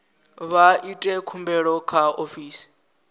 vha ite khumbelo kha ofisi